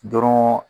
Dɔrɔn